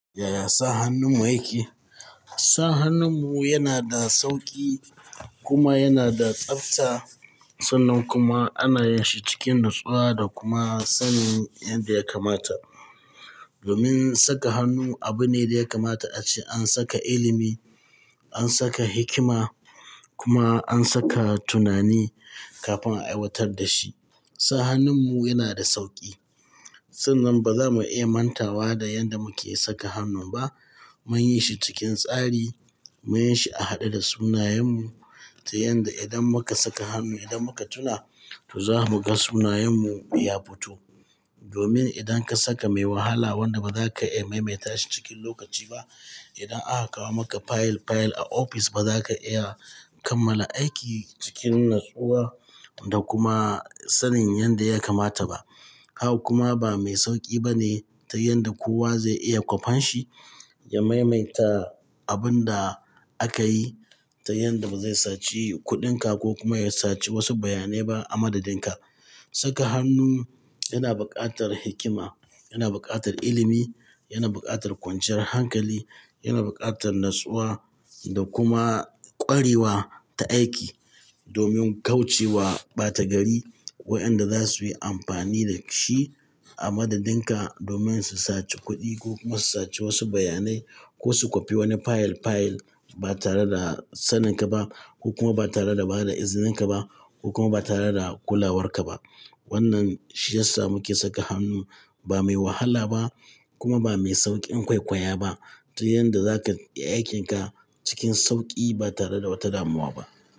Yaya sa hannun mu yake? Sa hannun mu yana da sauƙi kuma yana da tsafta. Sannan kuma ana yi shi cikin nutsuwa da kuma sanin yanda ya kamata. Domin saka hannu abu ne da ya kamata a ce an saka ilimi, an saka hikima kuma an saka tunani kafin a aiwatar da shi. Sa hannun mu yana da sauƙi. Sannan ba za mu iya mantawa da yanda muke saka hannun ba. Mun yi shi cikin tsari, mun yi shi a haɗe da sunayen mu ta yanda idan muka saka hannu, idan muka tuna to za mu ga sunayen mu ya fito. Domin idan ka saka mai wahala wanda ba za ka iya maimaita shi cikin lokaci ba, idan aka kawo maka fayil fayil a ofis ba za ka iya kammala aiki cikin natsuwa da kuma sanin yanda ya kamata ba. Haka kuma bamai sauƙi bane ta yanda kowa ze iya kofanshi ya maimaita abinda akayi ta yanda bazai saci kuɗin ka ko kuma ya saci wasu bayanai ba a madadin ka saka hannu yana buƙatar hikima, yana buƙatar ilimi, yana buƙatar kwanciyar hankali, yana buƙatar natsuwa da kuma ƙwarewa ta aiki domin kauce wa ɓata gari wa'yanda za su yi amfani da shi a madadin ka domin su saci kuɗi ko kuma su saci wasu bayanai ko su kwafi wani fayil fayil ba tare da sanin ka ba ko kuma ba tare da ba da izinin ka ba ko kuma ba tare da kulawar ka ba. Wannan shi ya sa muke saka hannu ba mai wahala ba kuma ba mai sauƙin kwaikwaya ba ta yanda za ka iya aikin ka cikin sauƙi ba tare da wata damuwa ba.